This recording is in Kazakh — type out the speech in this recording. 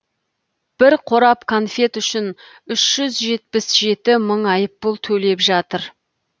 бір қорап конфет үшін үш жүз жетпіс жеті мың айыппұл төлеп жатыр